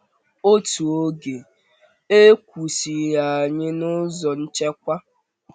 Otu oge, e kwụsịrị anyị n’ụzọ nchekwa.